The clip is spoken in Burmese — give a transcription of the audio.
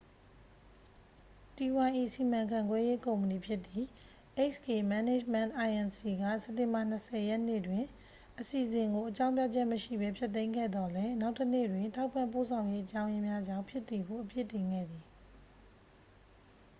တီးဝိုင်း၏ စီမံခန့်ခွဲရေးကုမ္ပဏီဖြစ်သည့် hk management inc က စက်တင်ဘာ 20 ရက်နေ့တွင် အစီအစဉ်ကို အကြောင်းပြချက်မရှိဘဲ ဖျက်သိမ်းခဲ့သော်လည်း နောက်တစ်နေ့တွင် ထောက်ပံ့ပို့ဆောင်ရေးအကြောင်းရင်းများကြောင့် ဖြစ်သည်ဟု အပြစ်တင်ခဲ့သည်